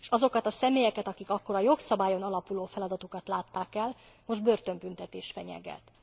És azokat a személyeket, akik akkor a jogszabályon alapuló feladatokat látták el, most börtönbüntetés fenyegeti.